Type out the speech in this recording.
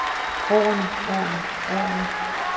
årene årene årene